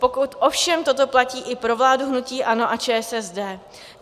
Pokud ovšem toto platí i pro vládu hnutí ANO a ČSSD.